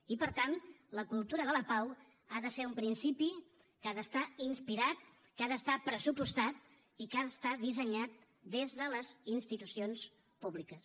i per tant la cultura de la pau ha de ser un principi que ha d’estar inspirat que ha d’estar pressupostat i que ha d’estar dissenyat des de les institucions públiques